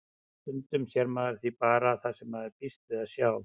Stundum sér maður því bara það sem maður býst við að sjá.